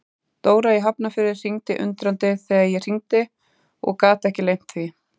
Dóra í Hafnarfirði var undrandi þegar ég hringdi og gat ekki leynt því.